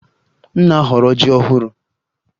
M na-ahọrọ yam ọhụrụ